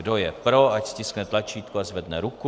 Kdo je pro, ať stiskne tlačítko a zvedne ruku.